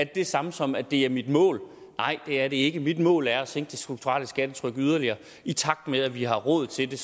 det samme som at det er mit mål nej det er det ikke mit mål er at sænke det strukturelle skattetryk yderligere i takt med at vi har råd til det